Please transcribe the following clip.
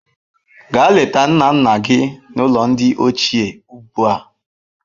Gaa leta nna nna gị n'ụlọ ndị ochie ugbu a.